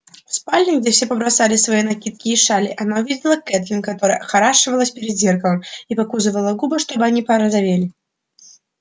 в спальне где все побросали свои накидки и шали она увидела кэтлин которая охорашивалась перед зеркалом и покусывала губы чтобы они порозовели